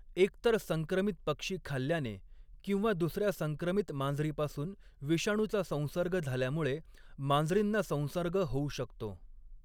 एकतर संक्रमित पक्षी खाल्ल्याने किंवा दुसर्या संक्रमित मांजरीपासून विषाणूचा संसर्ग झाल्यामुळे मांजरींना संसर्ग होऊ शकतो.